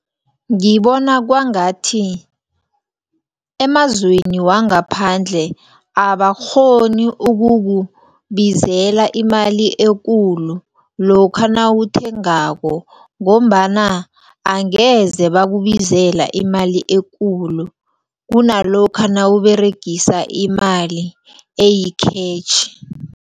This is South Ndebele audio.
Ngibona kwangathi emazweni wangaphandle abakghoni ukukubizela imali ekulu lokha nawuthengako. Ngombana angeze bakubizela imali ekulu kunalokha nawuberegisa imali eyikhetjhi.